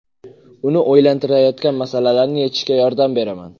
Uni o‘ylantirayotgan masalalarni yechishga yordam beraman.